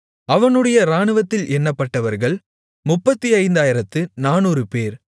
அவனுடைய இராணுவத்தில் எண்ணப்பட்டவர்கள் 35400 பேர்